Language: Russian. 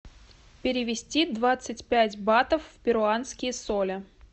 перевести двадцать пять батов в перуанские соли